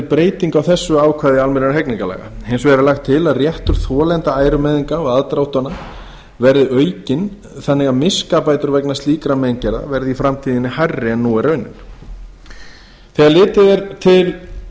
á þessu ákvæði almennra hegningarlaga hins vegar er lagt til að réttur þolenda ærumeiðinga og aðdróttana verði aukinn þannig að miskabætur vegna slíkra meingerða verði í framtíðinni hærri en nú er raunin þegar litið er til